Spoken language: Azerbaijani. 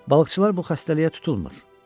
Balıqçılar bu xəstəliyə tutulmur.